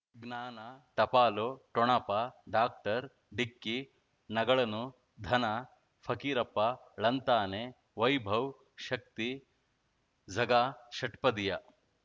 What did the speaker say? ಜ್ಞಾನ ಟಪಾಲು ಠೊಣಪ ಡಾಕ್ಟರ್ ಢಿಕ್ಕಿ ಣಗಳನು ಧನ ಫಕೀರಪ್ಪ ಳಂತಾನೆ ವೈಭವ್ ಶಕ್ತಿ ಝಗಾ ಷಟ್ಪದಿಯ